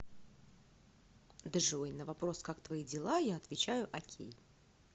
джой на вопрос как твои дела я отвечаю окей